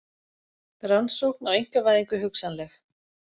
Rannsókn á einkavæðingu hugsanleg